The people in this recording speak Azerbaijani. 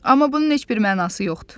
Amma bunun heç bir mənası yoxdur.